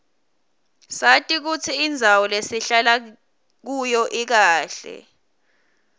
sati kutsi indzawo lesihlala kuyo ikahle